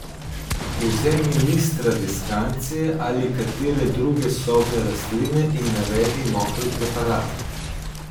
Vzemi list tradeskancije ali katere druge sobne rastline in naredi mokri preparat.